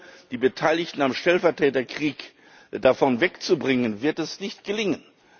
Denn ohne die Beteiligten am Stellvertreterkrieg davon wegzubringen, wird das nicht gelingen.